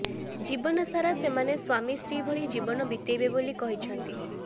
ଜୀବନ ସାରା ସେମାନେ ସ୍ବାମୀ ସ୍ତ୍ରୀଭଳି ଜୀବନ ବିତେଇବେ ବୋଲି କହିଛନ୍ତି